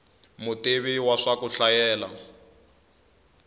mutivi wa swa ku hlayela